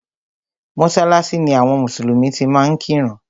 Mọ́sálásí ni àwọn mùsùlùmí ti máa ń kírun.